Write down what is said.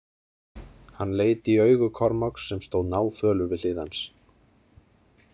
Hann leit í augu Kormáks sem stóð náfölur við hlið hans.